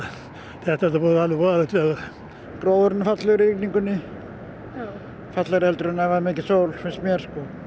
þetta er búið að vera alveg voðalegt veður gróðurinn er fallegri í rigningunni fallegri en ef mikil sól finnst mér